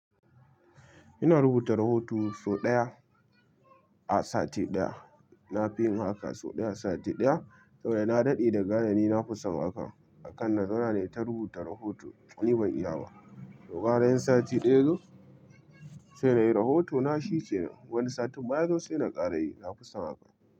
Ina rubuta rahoto sau ɗaya a sati ɗaya. Na fi yin haka sau ɗaya a sati ɗaya saboda na daɗe da gane ni na fi son haka. A kan na zauna ne ta rubuta rahoto. Ni ban iya ba. To, gara in sati ɗaya yazo sai nayi rahoto na shikenan. Wani satin ma yazo sai na ƙara yi. Na fi son haka.